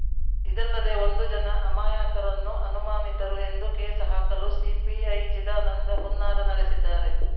ಇದಲ್ಲದೆ ಒಂದು ಜನ ಅಮಾಯಕರನ್ನು ಅನುಮಾನಿತರು ಎಂದು ಕೇಸ್‌ ಹಾಕಲು ಸಿಪಿಐ ಚಿದಾನಂದ ಹುನ್ನಾರ ನಡೆಸಿದ್ದಾರೆ